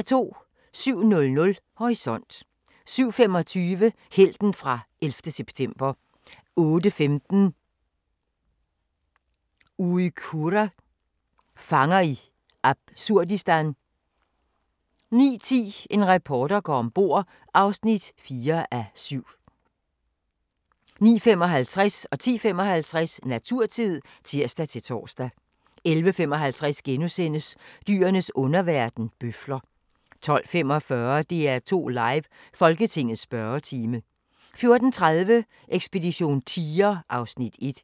07:00: Horisont 07:25: Helten fra 11. september 08:15: Uyghurer – fanger i absurdistan 09:10: En reporter går om bord (4:7) 09:55: Naturtid (tir-tor) 10:55: Naturtid (tir-tor) 11:55: Dyrenes underverden – bøfler * 12:45: DR2 Live: Folketingets spørgetime 14:30: Ekspedition tiger (Afs. 1)